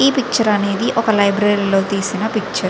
ఈ పిక్చర్ అనేది ఒక లైబ్రరీ లో తీసిన పిక్చర్ .